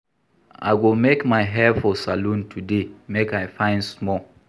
I go make my hair for salon today make I fine small.